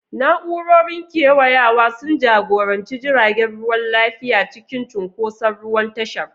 Na'urorin kewayawa sun jagoranci jiragen ruwa lafiya cikin cunkoson ruwan tashar.